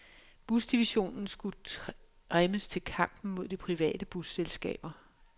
Busdivisionen skulle trimmes til kampen mod de private busselskaber.